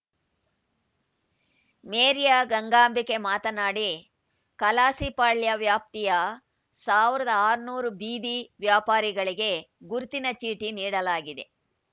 ಮೇರಿಯ ಗಂಗಾಂಬಿಕೆ ಮಾತನಾಡಿ ಕಲಾಸಿಪಾಳ್ಯ ವ್ಯಾಪ್ತಿಯ ಸಾವಿರದ ಆರುನೂರು ಬೀದಿ ವ್ಯಾಪಾರಿಗಳಿಗೆ ಗುರುತಿನ ಚೀಟಿ ನೀಡಲಾಗಿದೆ